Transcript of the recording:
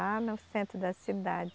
Lá no centro da cidade.